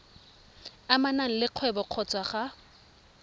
amanang le kgwebo kgotsa ga